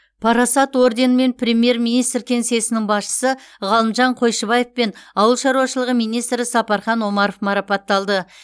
парасат орденімен премьер министр кеңсесінің басшысы ғалымжан қойшыбаев пен ауыл шаруашылығы министрі сапархан омаров марапатталды